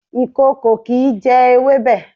Ìkòkò kìí jẹ ewébẹ̀.